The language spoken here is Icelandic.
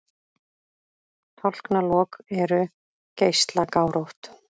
Tálknalok eru geislagárótt.